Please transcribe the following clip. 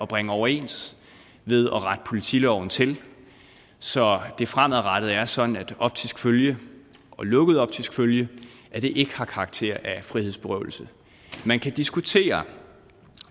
bringe overens ved at rette politiloven til så det fremadrettet er sådan at optisk følge og lukket optisk følge ikke har karakter af frihedsberøvelse man kan diskutere